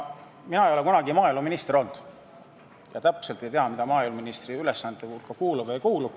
Mina ei ole kunagi maaeluminister olnud ja täpselt ei tea, mis maaeluministri ülesannete hulka kuulub või ei kuulu.